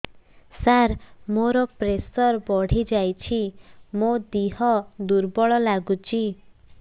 ସାର ମୋର ପ୍ରେସର ବଢ଼ିଯାଇଛି ମୋ ଦିହ ଦୁର୍ବଳ ଲାଗୁଚି